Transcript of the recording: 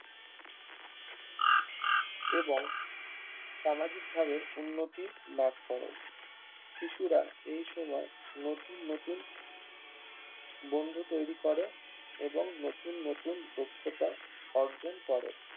এবং সামাজিক ভাবে উন্নতি লাভ করে শিশুরা এই সময় নতুন নতুন বন্ধু তৈরী করে নতুন নতুন দক্ষতা অর্জন করে